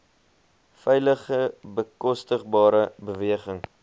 veilige bekostigbare beweging